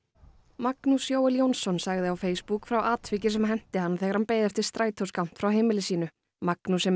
Magnús Jóel Jónsson sagði á Facebook frá atviki sem henti hann þegar hann beið eftir strætó skammt frá heimili sínu Magnús sem